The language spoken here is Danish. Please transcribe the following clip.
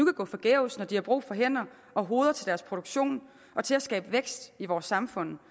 at gå forgæves når de har brug for hænder og hoveder til deres produktion og til at skabe vækst i vores samfund